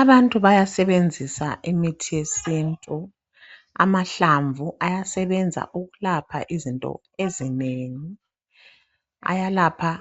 Abantu bayasebenzisa imithi yesintu. Amahlamvu ayasebenza ukulapha izinto ezinengi. Ayalapha